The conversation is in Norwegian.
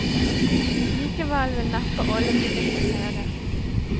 Likevel vil neppe alle benytte seg av det.